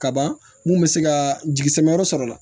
Kaban mun bɛ se ka jisama yɔrɔ sɔrɔ la